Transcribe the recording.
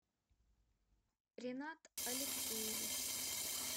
ринат алексеевич